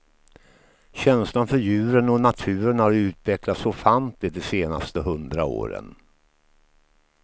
Känslan för djuren och naturen har utvecklats ofantligt de senaste hundra åren.